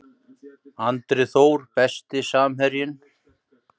Andri Þór Besti samherjinn?